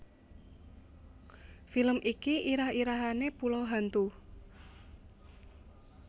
Film iki irah irahane Pulau Hantu